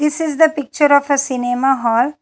This is the picture of a cinema hall.